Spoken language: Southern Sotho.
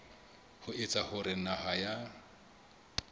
ho etsa hore naha ya